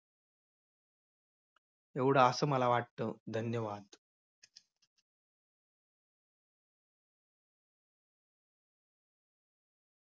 एवढं असं मला वाटतं. धन्यवाद.